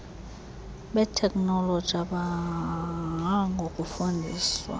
beteknoloji abonwabanga ngokufundiswa